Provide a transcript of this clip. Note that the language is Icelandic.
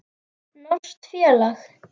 Norskt félag.